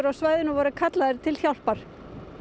á svæðinu voru kallaðir til hjálpar